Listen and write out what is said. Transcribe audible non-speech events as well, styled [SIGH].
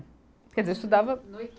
Quer dizer, eu estudava. [UNINTELLIGIBLE]